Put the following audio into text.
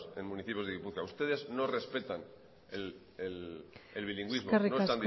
en municipios de gipuzkoa ustedes no respetan el bilingüismo no